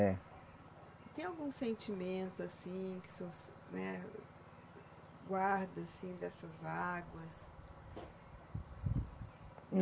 É. Tem algum sentimento assim que o senhor, né, guarda assim dessas águas?